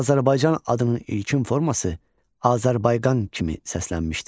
Azərbaycan adının ilkin forması Azərbayqan kimi səslənmişdir.